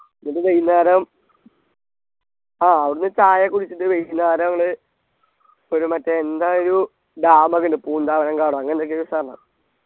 എന്നിട്ട് വൈകുന്നേരം ആ അവിടുന്ന് ചായയൊക്കെ കുടിച്ചിട്ട് വൈകുന്നേരം ഞങ്ങള് ഒരു മറ്റെ എന്താ ഒരു dam ഒക്കെയുണ്ട് പൂന്താവനം കാടോ അങ്ങനെയൊക്കെ ഒരു സ്ഥലം